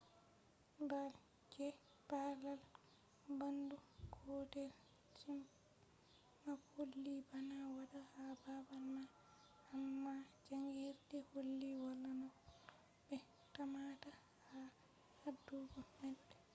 baal je balal bandu gotel zmapp holli bana wada ha babal ma amma jangirde holli wala nafu no be tammata ha hadugo maide